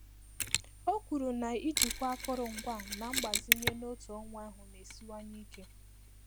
O kwuru na ijikwa akụrụngwa na mgbazinye n'otu ọnwa ahụ na-esiwanye ike.